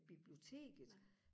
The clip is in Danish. biblioteket